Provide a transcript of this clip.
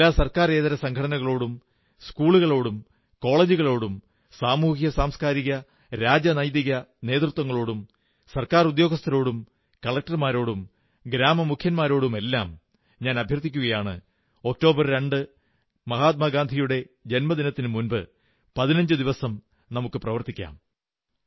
എല്ലാ സർക്കാരേതര സംഘടനകളോടും സ്കൂളുകളോടും കോളജുകളോടും സാമൂഹിക സാംസ്കാരിക രാഷ്ട്രീയ നേതൃത്വങ്ങളോടും ഗവൺമെന്റ് ഉദ്യോഗസ്ഥരോടും കളക്ടർമാരോടും ഗ്രമമുഖ്യന്മാരോടുമെല്ലാം അഭ്യർഥിക്കുന്നു ഒക്ടോബർ 2 ന് മഹാത്മാഗാന്ധിയുടെ ജന്മദിനത്തിനുമുമ്പ് 15 ദിവസം നമുക്കു പ്രവർത്തിക്കാം